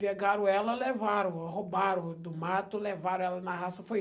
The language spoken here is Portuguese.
Pegaram ela, levaram, roubaram do mato, levaram ela na raça, foi